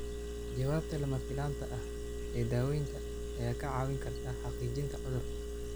Jawaabta lama filaanka ah ee daaweynta ayaa kaa caawin karta xaqiijinta cudurka.